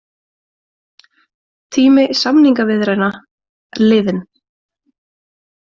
Tími samningaviðræðna liðinn